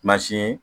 Mansin